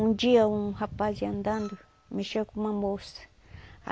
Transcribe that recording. Um dia, um rapaz aí andando, mexeu com uma moça.